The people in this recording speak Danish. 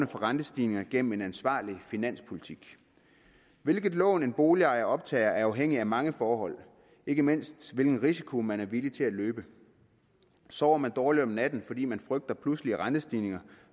rentestigninger gennem en ansvarlig finanspolitik hvilket lån en boligejer optager er afhængigt af mange forhold ikke mindst hvilken risiko man er villig til at løbe sover man dårligt om natten fordi man frygter pludselig rentestigninger